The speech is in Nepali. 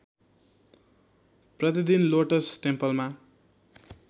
प्रतिदिन लोटस टेम्पलमा